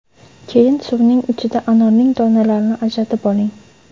Keyin suvning ichida anorning donalarini ajratib oling.